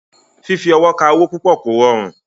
Fífi ọwọ́ ka owó púpọ̀ kò rọrùn.